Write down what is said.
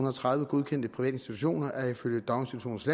og tredive godkendte private institutioner er ifølge daginstitutionernes